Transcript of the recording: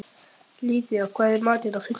Lydía, hvað er í matinn á fimmtudaginn?